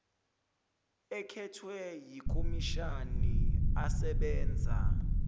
ekhethwe yikhomishani asebenza